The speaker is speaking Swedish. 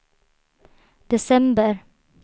december